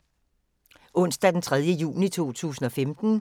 Onsdag d. 3. juni 2015